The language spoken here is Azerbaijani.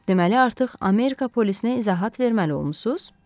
Deməli artıq Amerika polisinə izahat verməli olmusunuz?